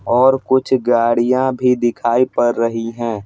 और कुछ गाड़ियां भी दिखाई पड़ रही हैं।